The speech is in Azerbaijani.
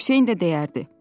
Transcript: Hüseyn də deyərdi.